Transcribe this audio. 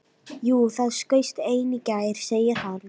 Jú, það skaust ein í gær, segir hann.